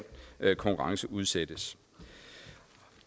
konkurrenceudsættes